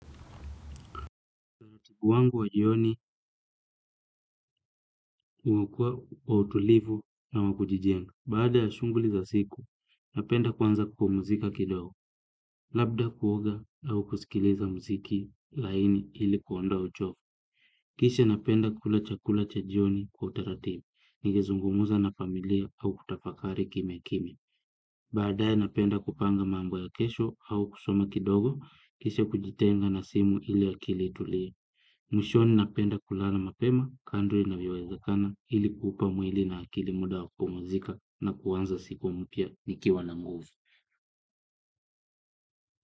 Tibu wangu wa jioni kukua wa utulivu na wa kujijenga. Baada ya shunguli za siku, napenda kwanza kupumuzika kidogo. Labda kuoga au kusikiliza muziki laini ili kuondoa uchovu. Kisha napenda kula chakula cha jioni kwa utaratibu. Nigezungumuza na familia au kutafakari kimya kimya. Baadae napenda kupanga mambo ya kesho au kusoma kidogo. Kisha kujitenga na simu ili akili itulie. Mwishoni napenda kulala mapema kandri inavyowezakana ili kuupa mwili na akili muda wakupumzika na kuanza siku mpya nikiwa na nguvu.